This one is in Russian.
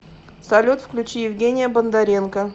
салют включи евгения бондаренко